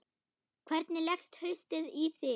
Hvernig leggst haustið í þig?